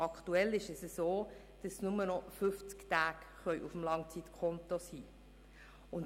aktuell dürfen nur noch höchstens 50 Tage auf dem Langzeitkonto figurieren.